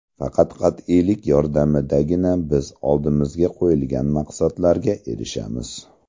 Faqat qat’iylik yordamidagina biz oldimizga qo‘yilgan maqsadlarga erishamiz.